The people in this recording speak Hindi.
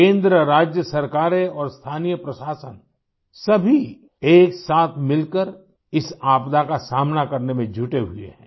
केंद्र राज्य सरकारें और स्थानीय प्रशासन सभी एक साथ मिलकर इस आपदा का सामना करने में जुटे हुए हैं